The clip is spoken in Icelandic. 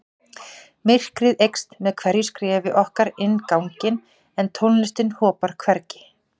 Myrkrið eykst með hverju skrefi okkar inn ganginn en tónlistin hopar hvergi.